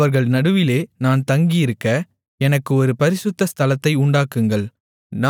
அவர்கள் நடுவிலே நான் தங்கியிருக்க எனக்கு ஒரு பரிசுத்த ஸ்தலத்தை உண்டாக்குங்கள்